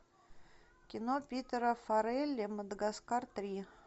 кино питера фаррелли мадагаскар три